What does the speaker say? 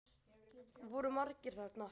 Voru margir þarna?